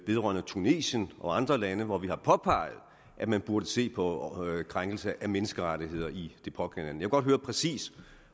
tunesien og andre lande hvor vi har påpeget at man burde se på krænkelse af menneskerettigheder i de pågældende vil godt høre præcis